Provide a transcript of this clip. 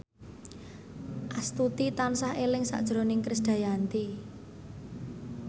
Astuti tansah eling sakjroning Krisdayanti